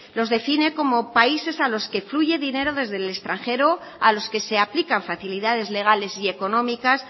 los define como países a los que fluye dinero desde el extranjero a los que se aplican facilidades legales y económicas